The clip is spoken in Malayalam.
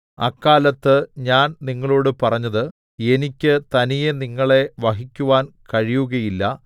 അക്കാലത്ത് ഞാൻ നിങ്ങളോട് പറഞ്ഞത് എനിക്ക് തനിയെ നിങ്ങളെ വഹിക്കുവാൻ കഴിയുകയില്ല